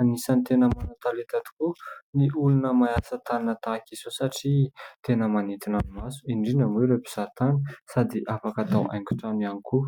An'isany tena manana talenta tokoa ny olona manao asa tanana tahaka izao satria tena manintina ny maso, indrindra moa ireo mpizahan-tany sady afaka tao haingo-trano ihany koa.